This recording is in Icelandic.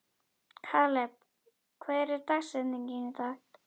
Kaleb, hver er dagsetningin í dag?